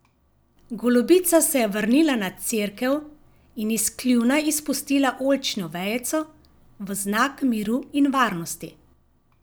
Golobica se je vrnila na cerkev in iz kljuna izpustila oljčno vejico v znak miru in varnosti.